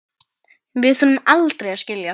Við þurfum aldrei að skilja.